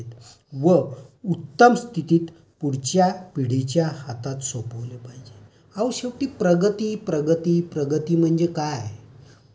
व उत्तम स्थितीत पुढच्या पिढीच्या हातात सोपवले पाहिजेत. अहो, शेवटी प्रगति प्रगति प्रगति म्हणजे काय आहे?